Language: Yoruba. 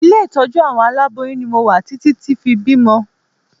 Ilé ìtọ́jú àwọn aláboyún ni mo wà títí tí fi bímọ